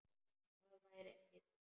Það væri æði